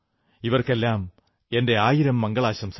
ഇവർക്കെല്ലാം എന്റെ ആയിരം മംഗളാശംസകൾ